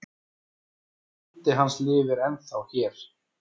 En andi hans lifir ennþá hér